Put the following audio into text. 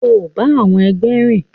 O ba àwọn ẹgbẹ rìn!